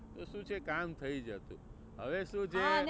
તો શું છે કામ થઇ જતું. હવે શું છે